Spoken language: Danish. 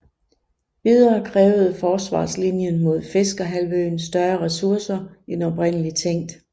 Videre krævede forsvarslinjen mod Fiskerhalvøen større ressourcer end oprindelig tænkt